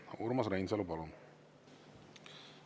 Urmas Reinsalu, palun!